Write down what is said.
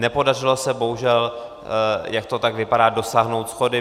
Nepodařilo se bohužel, jak to tak vypadá, dosáhnout shody.